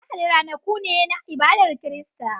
Lahadi ranaku ne na ibadar Kirista.